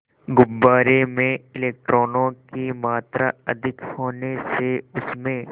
गुब्बारे में इलेक्ट्रॉनों की मात्रा अधिक होने से उसमें